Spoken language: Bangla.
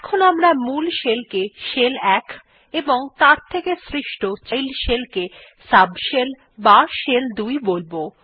এখন আমরা মূল শেল কে শেল ১ এবং তার থেকে সৃষ্ট চাইল্ড শেলকে সাবশেল অথবা শেল ২ বোলব